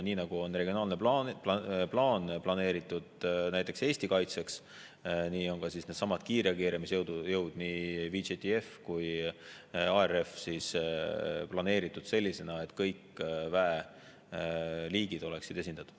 Nii nagu on regionaalne plaan näiteks Eesti kaitseks, nii on ka needsamad kiirreageerimisjõud – nii VJTF kui ka ARF – planeeritud sellisena, et kõik väeliigid oleksid esindatud.